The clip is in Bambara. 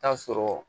Taa sɔrɔ